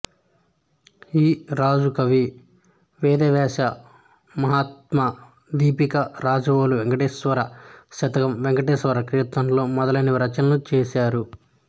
ఈ రాజకవి దివ్యదేశ మహాత్మ్య దీపిక రాజవోలు వేంకటేశ్వర శతకం వేంకటేశ్వర కీర్తనలు మొదలగు రచనలు చేశారు